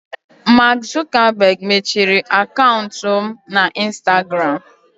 Mark Zuckerberg mechiri akaụntụ m na instagram.